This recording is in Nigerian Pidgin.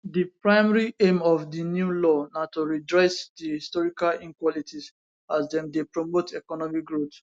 di primary aimof di new law na to redress di historical inequalities as dem dey promote economic growth